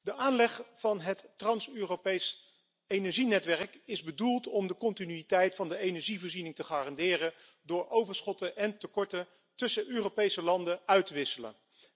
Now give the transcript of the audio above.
Voorzitter, de aanleg van het trans Europees energienetwerk is bedoeld om de continuïteit van de energievoorziening te garanderen door overschotten en tekorten tussen Europese landen uit te wisselen.